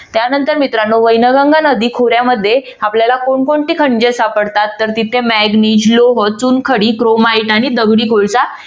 त्यानंतर मित्रानो वैनगंगा नदी खोऱ्यामध्ये आपल्याला कोण कोणती खनिजे सापडतात? तर तिथे manganese लोह चुनखडी chromite आणि दगडी कोळसा